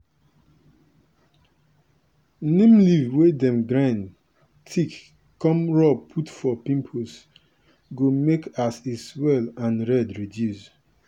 neem leaf wey dem grind thick come rub put for pimples go make as e swell and red reduce.